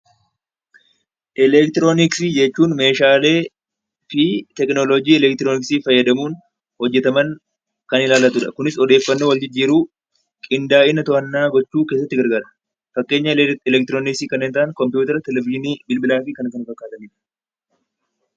Elektirooniksii jechuun meeshaalee fi tekinooloojii elektirooniksii fayyadamuun hojjetaman kan ilaallatu dha. Kunis odeeffannoo waljijjiiruu, qindaa'ina to'annaa gochuu keessatti gargaara. Fakkeenya elektirooniksii kanneen ta'an kompiwuutara, televizhiinii, bilbilaa fi kana kan fakkaatanii dha.